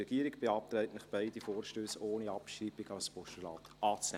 Die Regierung beantragt Ihnen, beide Vorstösse ohne Abschreibung als Postulat anzunehmen.